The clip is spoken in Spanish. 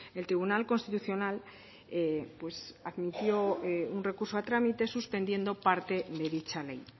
el tribunal constitucional admitió un recurso a trámite suspendiendo parte de dicha ley